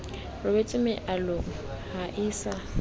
robetse mealong ha o sa